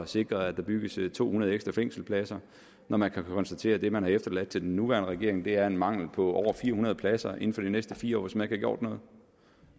sikre at der bygges to hundrede ekstra fængselspladser når man kan konstatere at det man har efterladt til den nuværende regering er en mangel på over fire hundrede pladser inden for de næste fire år hvis man gjort noget